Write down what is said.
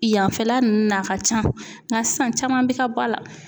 Yanfɛla ninnu na a ka ca nka sisan caman bɛ ka ba la.